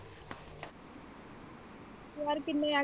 ਯਾਰ ਕਿੰਨੇ?